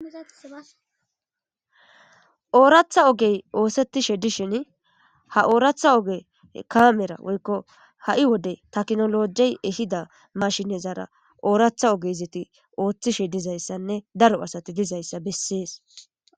Oraththa ogey oththetishe dishshini ha oraththa oge kammera woyikko ha"i wode techinolojey ehida mashinezara oraththa oge othishe dizayissanne daro asati dizayissa besses